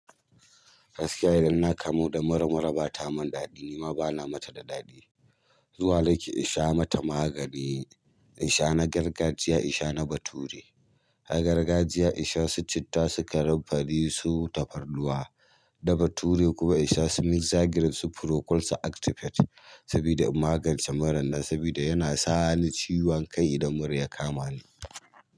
Gaskiya idan na kamu da mura mura ba ta mun daɗi. Ni ma ba na mata da daɗi. Zuwa nake in sha mata magani, in sha na gargajiya, in sha na bature. Na gargajiya in sha su citta, su kanumfari, su tafarnuwa. Na bature kuma in sha su mixa grip, su procold, su aktift sabida magance muran nan sabida yana sa ni ciwon kai idan mura ya kama ni.